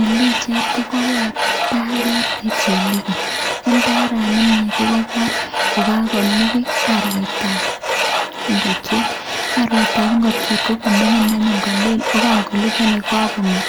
En pichait kogobor indaret ne chelegen, indarani kogobor kogakolukui arwetab ngokiet. Arwetab ngokiet kogoming'in anyun koleel ago kangolugui kogakong'et